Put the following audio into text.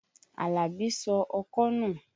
Àlàbí sọ ọkọ́ nù.